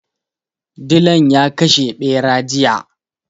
Dilan ya kashe ɓera jiya.